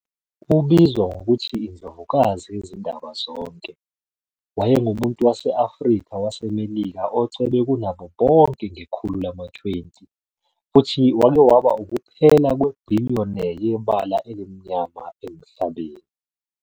Ubizwa ngokuthi "iNdlovukazi Yezindaba Zonke", wayengumuntu wase-Afrika waseMelika ocebe kunabo bonke ngekhulu lama-20 futhi wake waba ukuphela kwe-billionaire yebala elimnyama emhlabeni.